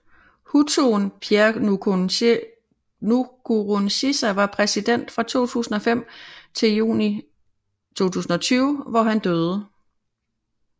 Hutuen Pierre Nkurunziza var præsident fra 2005 til juni 2020 hvor han døde